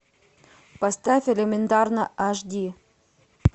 поставь элементарно аш ди